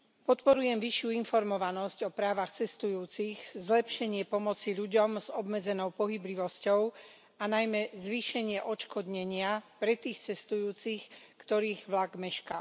Podporujem vyššiu informovanosť o právach cestujúcich, zlepšenie pomoci ľuďom s obmedzenou pohyblivosťou a najmä zvýšenie odškodnenia pre tých cestujúcich, ktorých vlak mešká.